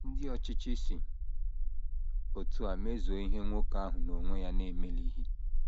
Ndị ọchịchị si otú a mezuo ihe nwoke ahụ n’onwe ya na - emelighị.